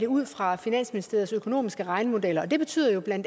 ud fra finansministeriets økonomiske regnemodeller det betyder jo bla